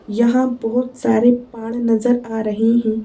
यहां बहुत सारे पाड़ नजर आ रहे हैं।